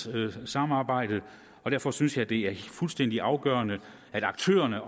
udvalgssamarbejdet derfor synes jeg det er fuldstændig afgørende at aktørerne